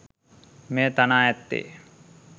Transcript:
මෙය තනා ඇත්තේ